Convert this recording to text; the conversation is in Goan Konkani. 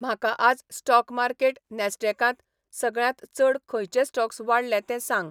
म्हाका आज स्टॉक मार्केट नॅस्डॅकांत सगळ्यांत चड खंयचे स्टॉक्स वाडले ते सांग